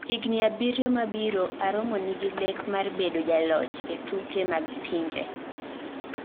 Higni abiyo mabiro, Aromo nigi lek mar bedo jaloch ee tuke mag pinje